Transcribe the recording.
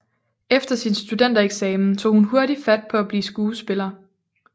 Efter sin studentereksamen tog hun hurtigt fat på at blive skuespiller